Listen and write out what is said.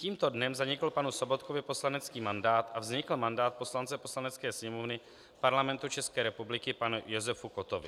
Tímto dnem zanikl panu Sobotkovi poslanecký mandát a vznikl mandát poslance Poslanecké sněmovny Parlamentu České republiky panu Josefu Kottovi.